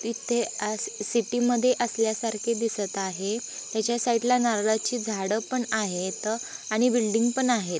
इथे आज सिटि मधे असल्यासारखे दिसत आहे. हेच्या साइड ला नारळाची झाड पन आहेत. आणि बिल्डिंग पन आहेत.